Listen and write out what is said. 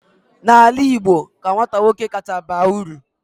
n'ala Igbo ka nwata nwoke kacha baa uru